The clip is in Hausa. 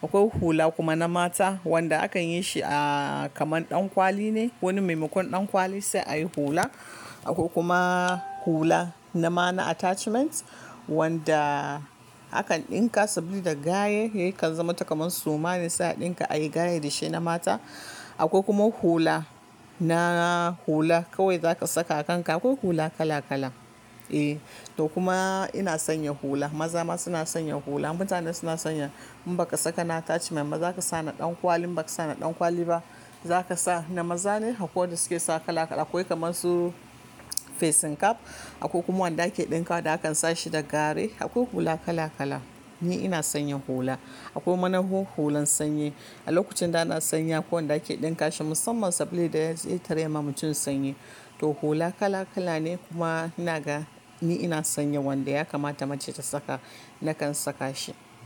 Akwai hula kuma na mata wanda akan yi shi a kamar ɗan kwali ne. Wani maimakon ɗan kwali sai a yi hula. Akwai kuma hula nan ma na attachment wanda akan ɗinka saboda da gayen yakan zama takama su. Mane sai a ɗinka, a yi gayen da shi na mata. Akwai kuma hula na hula kawai za ka saka a kanka. Akwai hula kala-kala. Eh, to kuma ina sanya hula. Maza ma suna sanya hula. Mutane suna sanya in ba ka saka na attachment ba za ka sa na ɗan kwali. In ba ka sa na ɗan kwali ba, za ka sa na maza ne akwai wanda suke saka kala-kala. Akwai kamar su facing cap akwai kuma wanda ake ɗinka da akan sa shi da garai. Akwai hula kala-kala. Ni ina sanya hula. Akwai mana hulan sanyi. A lokacin da ana sanyi akwai wanda ake ɗinka shi musamman sabili da ya tare ma mutum sanyi. To hula kala-kala ne kuma ina ga ni ina sanya wanda ya kamata mace ta saka, na kan saka shi.